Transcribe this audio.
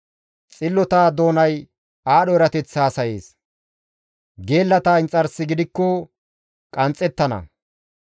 Xillota doonay aadho erateth haasayees; geellata inxarsi gidikko qanxxettana.